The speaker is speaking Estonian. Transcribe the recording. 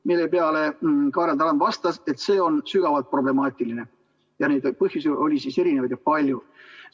Selle peale Kaarel Tarand vastas, et see on sügavalt problemaatiline, ja neid põhjusi oli erinevaid ja palju.